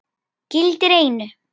Gildir einu.